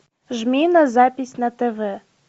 жми на запись на тв